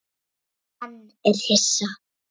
Hann er hissa.